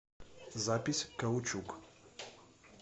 запись каучук